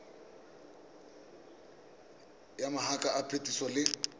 ya mabaka a phetiso le